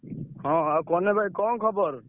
ହଁ ଆଉ କହ୍ନେଇ ଭାଇ କଣ ଖବର?